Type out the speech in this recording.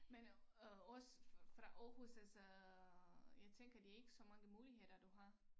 Men øh øh også fra Aarhus altså jeg tænker det ikke så mange muligheder du har